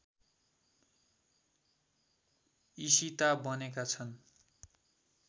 ईशिता बनेका छन्